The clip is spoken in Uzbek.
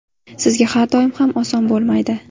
Sizga har doim ham oson bo‘lmaydi.